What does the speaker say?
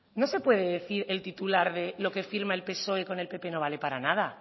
no se puede decir el titular de lo que firma el psoe con el pp no vale para nada